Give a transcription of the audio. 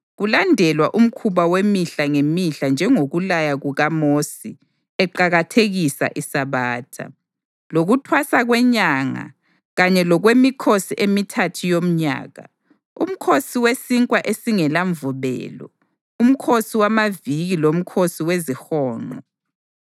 kulandelwa umkhuba wemihla ngemihla njengokulaya kukaMosi eqakathekisa iSabatha, lokuThwasa kweNyanga kanye lokwemikhosi emithathu yomnyaka, uMkhosi weSinkwa esingelaMvubelo, uMkhosi wamaViki loMkhosi weziHonqo.